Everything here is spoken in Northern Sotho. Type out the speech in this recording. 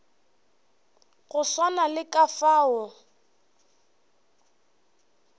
go swana le ka fao